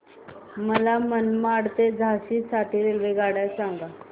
मला मनमाड ते झाशी साठी रेल्वेगाड्या सांगा